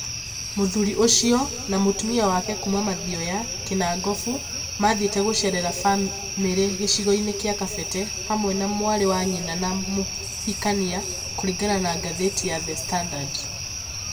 Mũthuri ũcio na mũtumia wake kuuma mathioya , kĩnangofu , maathite gũceerera famĩlĩ gĩcigo-inĩ kĩa kabete hamwe na mwari wa nyina na mũhikania Kũringana na ngathĩti ya The Standard